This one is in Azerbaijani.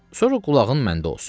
Sonra qulağın məndə olsun.